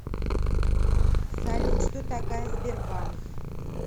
салют что такая сбербанк